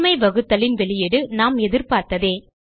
உண்மை வகுத்தலின் வெளியீடு நாம் எதிர்பார்த்ததே